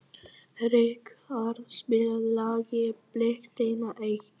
Ríkharð, spilaðu lagið „Blik þinna augna“.